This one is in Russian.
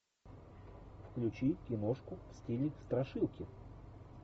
включи киношку в стиле страшилки